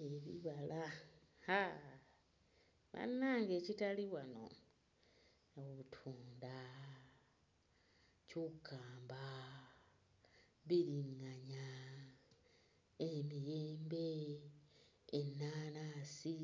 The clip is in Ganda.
Owa, haaa bannange ekitali wano, obutunda, ccukamba, bbiringanya, emiyembe, ennaanansi,